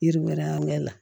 Yiri wɛrɛ an mɛn na